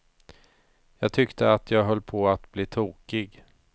Jag tyckte att jag höll på att bli tokig.